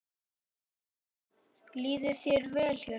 Líður þér vel hérna?